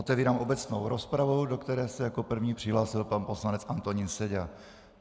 Otevírám obecnou rozpravu, do které se jako první přihlásil pan poslanec Antonín Seďa.